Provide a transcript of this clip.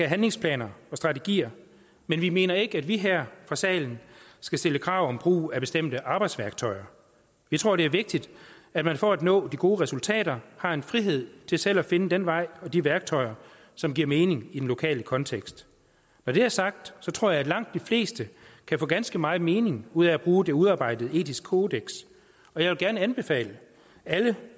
handlingsplaner og strategier men vi mener ikke at vi her fra salen skal stille krav om brug af bestemte arbejdsværktøjer vi tror det er vigtigt at man for at nå de gode resultater har en frihed til selv at finde den vej og de værktøjer som giver mening i den lokale kontekst når det er sagt tror jeg at langt de fleste kan få ganske meget mening ud af at bruge det udarbejdede etiske kodeks og jeg vil gerne anbefale alle